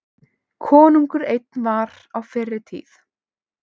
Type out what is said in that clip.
Konungur einn var á fyrri tíð.